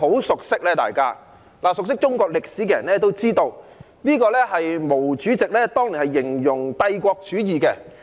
熟悉中國歷史的人都知道，這是毛主席當年用來形容帝國主義的。